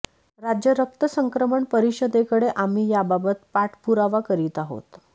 राज्य रक्त संक्रमण परिषदेकडे आम्ही याबाबत पाठपुरावा करीत आहोत